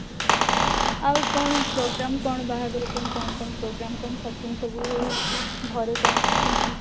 ଆଉ କଣ program କଣ ବାହାଘର ପାଇଁ କଣ କଣ program କଣ shopping ସବୁ ହଉଛି ଘରେ କଣ କେମିତି